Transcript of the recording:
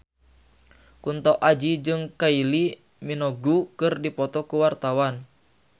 Kunto Aji jeung Kylie Minogue keur dipoto ku wartawan